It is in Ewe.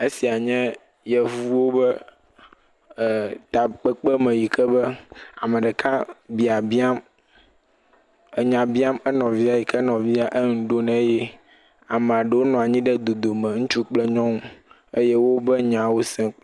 Esie nye yevuwo be e takpekpeme yike be ame ɖeka biabiam, enya biam enɔvia eyike enɔvia eŋu ɖom nɛ eye ame aɖewo nɔ anyi ɖe dodome , ŋutsu kple nyɔnu eye wo wobe nyawo sem.